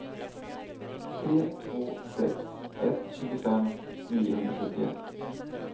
tre två sex ett tjugofem niohundrasjuttioett